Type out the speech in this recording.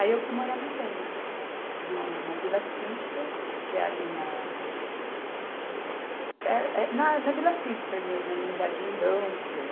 Aí eu fui morar na Penha, no, na Vila Cisper, que é ali na... é, é na, na Vila Cisper mesmo, ali no Jardim Danfer.